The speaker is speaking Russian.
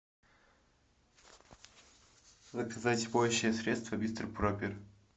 заказать моющее средство мистер пропер